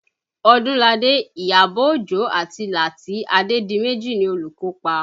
Odunlade, Iyabọ̀ Ojo àti Lati Adedimeji ni olùkópa